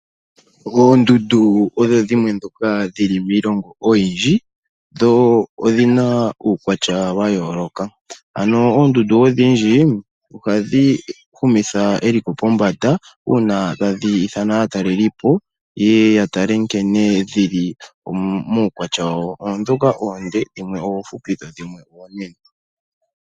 Oondundu odho dhimwe ndhoka dhili miilongo oyindji, dho odhina uukwatya wa yooloka. Ano oondundu odhindji ohadhi humitha eliko pombanda, uuna tadhi ithana aatalelipo yeye ya tale nkene dhili muukwatya wawo. Oondhoka oonde, dhimwe oomfupi dho dhimwe oonene.